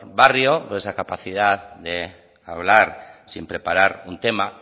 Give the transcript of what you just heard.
barrio por esa capacidad de hablar sin preparar un tema